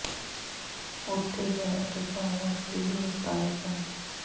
ਉੱਥੇ ਹੈ ਅਤੇ ਪਾਇਆ ਉਸ ਦੇ ਦੋਸਤ ਆਏ ਸਨ